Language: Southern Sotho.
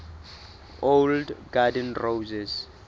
old garden roses